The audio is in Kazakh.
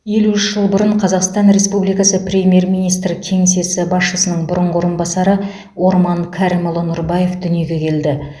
елу үш жыл бұрын қазақстан республикасы премьер министр кеңсесі басшысының бұрынғы орынбасары орман кәрімұлы нұрбаев дүниеге келді